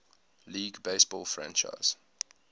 league baseball franchise